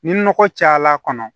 Ni nɔgɔ cayala